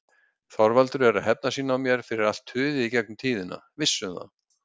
Þorvaldur er að hefna sín á mér fyrir allt tuðið í gegnum tíðina. Viss um það!